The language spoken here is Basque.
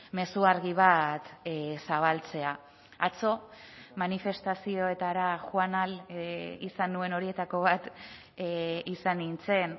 mezu argi bat zabaltzea atzo manifestazioetara joan ahal izan nuen horietako bat izan nintzen